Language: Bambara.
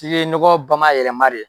tigi nɔgɔ bamayɛlɛma de